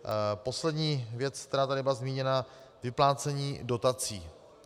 Poslední věc, která tady byla zmíněna - vyplácení dotací.